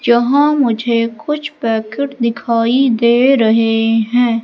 यहां मुझे कुछ पैकेट दिखाई दे रहे हैं।